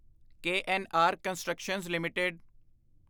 KNR constructions LTD